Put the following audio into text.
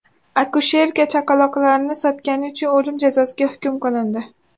Akusherka chaqaloqlarni sotgani uchun o‘lim jazosiga hukm qilindi.